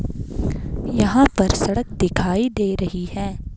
यहां पर सड़क दिखाई दे रही है।